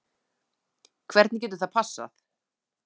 Hvernig getur það passað?